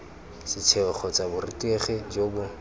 setheo kgotsa borutegi jo bo